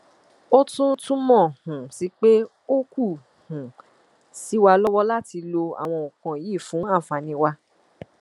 ó tún túmọ um sí pé ó kù um sí wa lọwọ láti lo àwọn nǹkan yìí fún àǹfààní wa